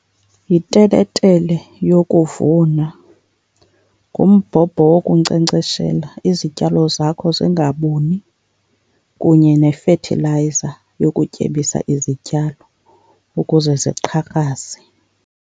Yiteletele yokuvuna, ngumbhobho wokunkcenkceshela izityalo zakho zingabuni kunye nefethilayiza yokutyebisa izityalo ukuze ziqhakraze.